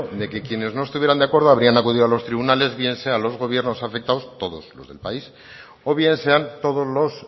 de que quienes no estuvieran de acuerdo habrían acudido a los tribunales bien sean los gobiernos afectados todos los del país o bien sean todos los